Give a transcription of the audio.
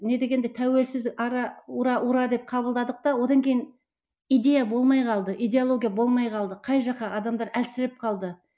не дегенде тәуелсіз ара ура ура деп қабылдадық та одан кейін идея болмай қалды идеология болмай қалды қай жаққа адамдар әлсіреп қалды